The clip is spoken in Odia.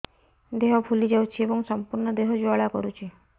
ଦେହ ଫୁଲି ଯାଉଛି ଏବଂ ସମ୍ପୂର୍ଣ୍ଣ ଦେହ ଜ୍ୱାଳା କରୁଛି